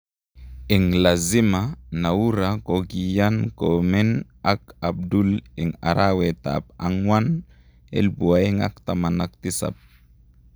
Eng lazima, Noura kokiyan komen ak Abdul en arawetap akwang 2017